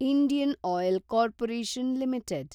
Indian oil corporation limited